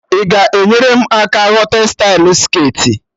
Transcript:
Ị ga-enyere m aka ghọta stylụ skirtị?